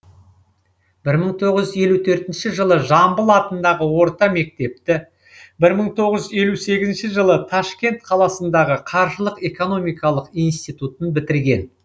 бір мың тоғыз жүз елу төртінші жылы жамбыл атындағы орта мектепті бір мың тоғыз жүз елу сегізінші жылы ташкент қаласындағы қаржылық экономикалық институтын бітірген